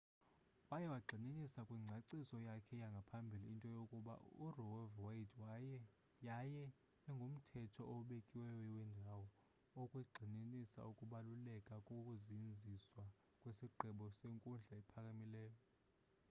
waye wayigxininisa kwingcaciso yakhe yangaphambili into yokuba roev.wade yaye ingumthetho obekiweyo wendawo” ekwagxininisa ukubaluleka kokuzinziswa kwesigqibo senkundla ephakamileyo